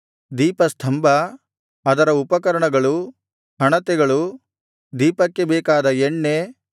ದೀಪಸ್ತಂಭ ಅದರ ಉಪಕರಣಗಳು ಹಣತೆಗಳು ದೀಪಕ್ಕೆ ಬೇಕಾದ ಎಣ್ಣೆ